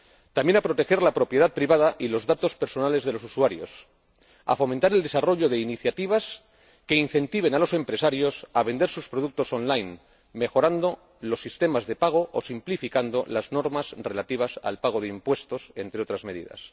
también a proteger la propiedad privada y los datos personales de los usuarios, a fomentar el desarrollo de iniciativas que incentiven a los empresarios a vender sus productos en línea, mejorando los sistemas de pago o simplificando las normas relativas al pago de impuestos, entre otras medidas.